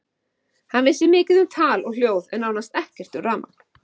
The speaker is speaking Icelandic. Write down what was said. Hann vissi mikið um tal og hljóð en nánast ekki neitt um rafmagn.